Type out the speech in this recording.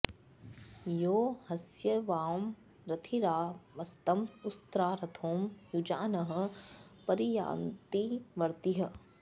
यो ह॒ स्य वां॑ रथिरा॒ वस्त॑ उ॒स्रा रथो॑ युजा॒नः प॑रि॒याति॑ व॒र्तिः